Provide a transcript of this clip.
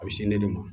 A bɛ se ne de ma